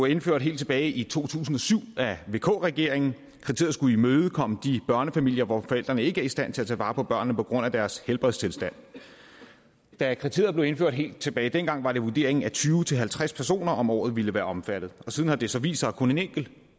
indført helt tilbage i to tusind og syv af vk regeringen kriteriet skulle imødekomme de børnefamilier hvor forældrene ikke i er stand til at tage vare på børnene på grund af deres helbredstilstand da kriteriet blev indført helt tilbage dengang var det vurderingen at tyve til halvtreds personer om året ville være omfattet siden har det så vist sig at kun en enkelt